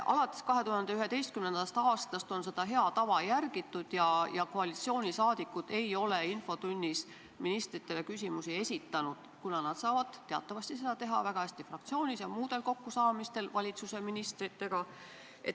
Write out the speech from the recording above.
Alates 2011. aastast on seda head tava järgitud ja koalitsiooniliikmed ei ole ministritele küsimusi esitanud, kuna nad saavad teatavasti seda väga hästi teha fraktsioonis ja muudel kokkusaamistel ministritega.